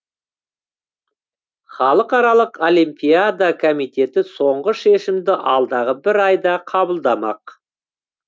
халықаралық олимпиада комитеті соңғы шешімді алдағы бір айда қабылдамақ